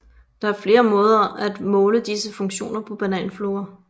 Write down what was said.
Der er flere måder at måle disse funktioner på bananfluer